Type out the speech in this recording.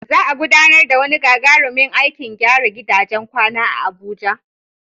Za'a gudanar da wani gagarumin aikin gyara gidajen kwana a Abuja